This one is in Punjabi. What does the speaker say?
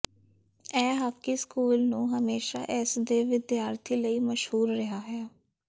ਇਹ ਹਾਕੀ ਸਕੂਲ ਨੂੰ ਹਮੇਸ਼ਾ ਇਸ ਦੇ ਵਿਦਿਆਰਥੀ ਲਈ ਮਸ਼ਹੂਰ ਰਿਹਾ ਹੈ